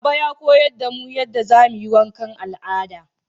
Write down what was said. Baba ya koyar da mu yadda zamuyi wanka al'ada